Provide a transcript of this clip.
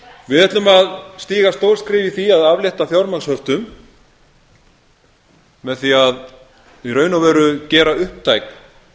við ætlum að stíga stór skref í því að aflétta fjármagnshöftum með því að í raun og veru gera upptækar